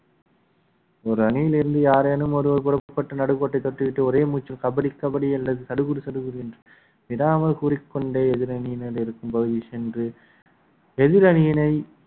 ஒரு அணியில் இருந்து யாரேனும் ஒருவர் புறப்பட்டு நடுக்கோட்டை தொட்டுவிட்டு ஒரே மூச்சு கபடி கபடி அல்லது சடுகுடு சடுகுடு என்று விடாம விடாமல் கூறிக்கொண்டே எதிரணியினர் இருக்கும் பகுதி சென்று எதிரணியினை